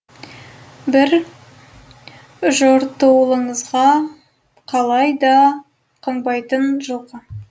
бір жортуылыңызға қалай да қыңбайтын жылқы